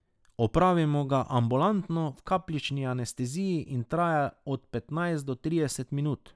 Opravimo ga ambulantno, v kapljični anesteziji in traja od petnajst do trideset minut.